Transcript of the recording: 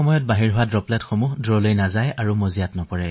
যাতে ড্ৰপলেটসমূহ দূৰলৈ নাযায় অথবা মাটিত নপৰে